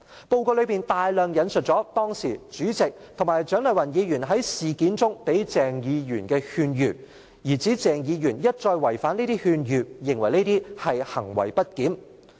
報告中大量引述了當時主席及蔣麗芸議員在事件中給鄭議員的勸諭，從而指鄭議員一再違反這些勸諭，認為這是行為不檢。